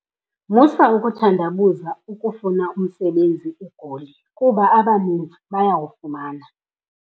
Musa ukuthandabuza ukufuna umsebenzi eGoli kuba abaninzi bayawufumana.